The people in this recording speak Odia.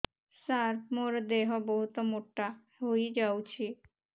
ସାର ମୋର ଦେହ ବହୁତ ମୋଟା ହୋଇଯାଉଛି